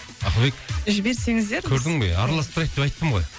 ақылбек жіберсеңіздер біз көрдің бе араласып тұрайық деп айттым ғой